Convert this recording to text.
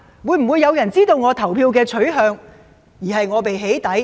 會否有人知道他的投票取向而被"起底"？